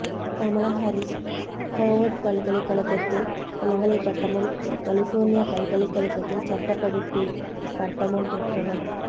Kamala Harris Howard பல்கலைக்கழகத்தில் இளங்கலை பட்டமும் கலிபோர்னியா பல்கலைக்கழகத்தில் சட்டப்படிப்பில் பட்டமும் பெற்றவர்